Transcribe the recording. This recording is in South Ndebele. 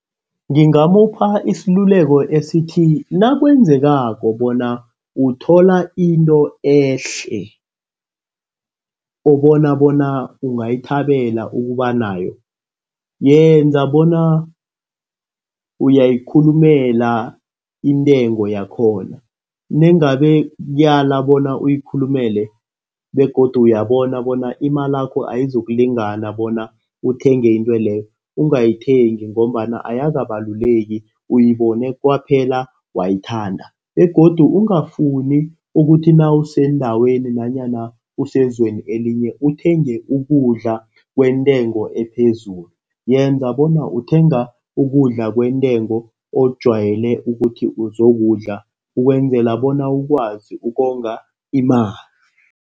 Ngingamupha isaluleko esithi nakwenzekako bona uthola into ehle. Obona bona ungayithabela ukuba nayo yenza bona uyayikhulumela intengo yakhona. Nangabe kuyala bona uyikhulumele begodu uyabona bona imalakho ayizokulingana bona uthenge intweleyo. Ungayithengi ngombana ayakabaluleki uyibone kwaphela wayithanda begodu ungafuni ukuthi nawusendaweni nanyana usezweni elinye, uthenge ukudla kwentengo ephezulu. Yenza bona uthenga ukudla kwentengo ojwayele ukuthi uzokudla ukwenzela bona ukwazi ukonga imali.